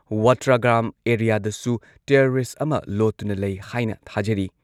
ꯋꯥꯇ꯭ꯔꯒ꯭ꯔꯥꯝ ꯑꯦꯔꯤꯌꯥꯗꯁꯨ ꯇꯦꯔꯣꯔꯤꯁꯠ ꯑꯃ ꯂꯣꯠꯇꯨꯅ ꯂꯩ ꯍꯥꯏꯅ ꯊꯥꯖꯔꯤ꯫